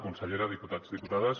consellera diputats diputades